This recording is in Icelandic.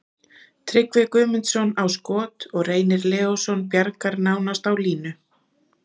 Tryggvi Guðmundsson á skot og Reynir Leósson bjargar nánast á línu.